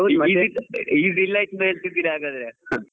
Easy ಹಾಗಾದ್ರೆ.